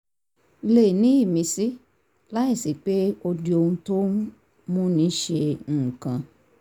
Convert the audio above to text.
le ní ìmísí láìsí pé ó di ohun tó ń múni ṣe nǹkan